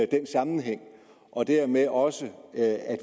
den sammenhæng og dermed også at